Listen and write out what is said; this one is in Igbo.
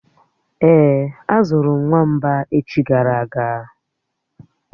Èé, azụrụ m nwamba echi gara aga